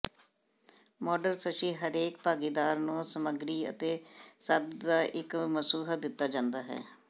ਮੋਡਰਸਸ਼ੀ ਹਰੇਕ ਭਾਗੀਦਾਰ ਨੂੰ ਸਮੱਗਰੀ ਅਤੇ ਸੰਦ ਦਾ ਇੱਕ ਸਮੂਹ ਦਿੱਤਾ ਜਾਂਦਾ ਹੈ